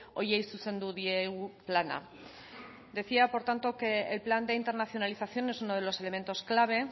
horiei zuzendu diegu plana decía por tanto que el plan de internacionalización es uno de los elementos clave